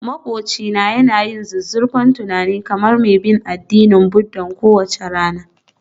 Maƙwabcina yana yin zuzzurfan tunani kamar mai bin addinin Buddha kowace rana